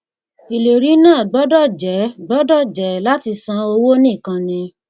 ìlérí náà gbọdọ jẹ gbọdọ jẹ láti san owó nìkan ni